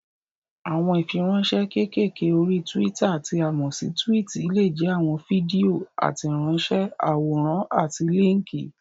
Àwọn ìfiránsẹ́ kékèké orí túwítà tí a mọ̀ sí túwìtì lè jẹ́ àwọn fídíò, àtẹ̀ránsẹ́, àwòrán àti líńkì.